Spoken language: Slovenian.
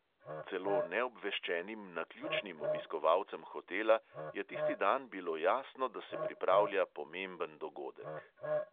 Celo neobveščenim naključnim obiskovalcem hotela je tisti dan bilo jasno, da se pripravlja pomemben dogodek.